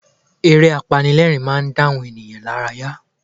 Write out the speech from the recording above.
Eré apanilẹ́rìn-ín máa ń dá àwọn ènìyàn lárayá